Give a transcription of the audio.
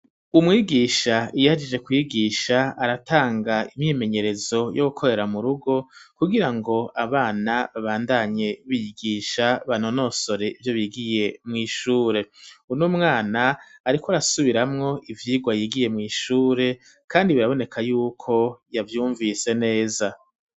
Umwigisha iyo ahejeje kwigisha aratanga imyimenyerezo yo gukorera mu rugo kugira ngo abana babandanye bigisha banonosore ibyo bigiye mu ishure unumwana ariko arasubiramwo ivyigwa yigiye mu ishure kandi biraboneka yuko yavyumvise neza.